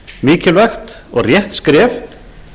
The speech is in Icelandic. mikilvægt og rétt skref